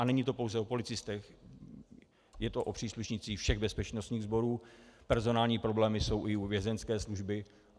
A není to pouze o policistech, je to o příslušnících všech bezpečnostních sborů, personální problémy jsou i u Vězeňské služby.